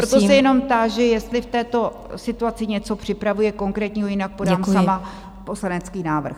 Proto se jenom táži, jestli v této situaci něco připravuje konkrétního, jinak podám sama poslanecký návrh.